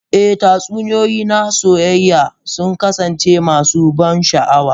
Eh, tatsuniyoyi na soyayya sun kasance masu ban sha'awa.